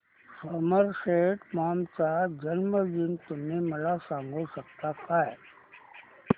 Somerset Maugham चा जन्मदिन तुम्ही मला सांगू शकता काय